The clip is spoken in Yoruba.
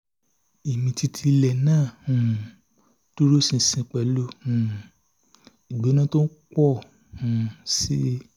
ìmìtìtì ilẹ̀ náà um dúró ṣinṣin pẹ̀lú um ìgbóná tó ń pọ̀ um sí i